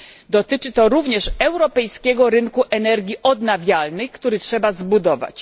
Dotyczy to również europejskiego rynku energii odnawialnej, który trzeba zbudować.